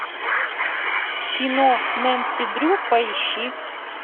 кино нэнси дрю поищи